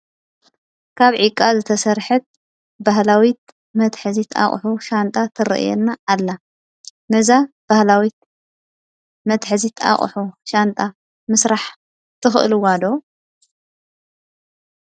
ካብ ዕቃ ዝትሰርሐት ባህላዊ መትሐዚት አቁሑ ሻንጣ ትርኣየኒ ኣላ። ነዛ ባህላዊት ምትሐዚት ኣቁሑ ሻንጣ ምስራሕ ትክእልዎ ዶ?